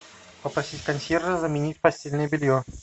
попросить консьержа заменить постельное белье